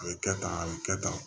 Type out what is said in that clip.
A ye kɛ tan a bɛ kɛ tan